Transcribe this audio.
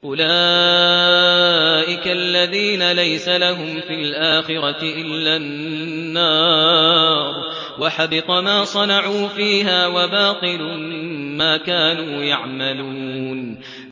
أُولَٰئِكَ الَّذِينَ لَيْسَ لَهُمْ فِي الْآخِرَةِ إِلَّا النَّارُ ۖ وَحَبِطَ مَا صَنَعُوا فِيهَا وَبَاطِلٌ مَّا كَانُوا يَعْمَلُونَ